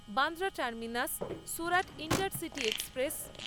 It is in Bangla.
Bandra terminus Surat intercity express